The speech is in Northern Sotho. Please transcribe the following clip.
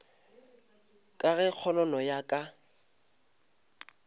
ka ge kgonono ya ka